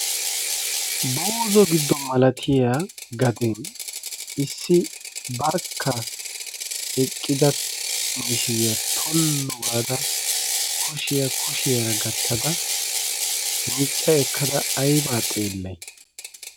buuzo giddo malatiya gaden issi barkka eqqida mishiriyaa tollu gaada kushiyaa kushiyaara gattada miicca ekkada aibaa xeellai?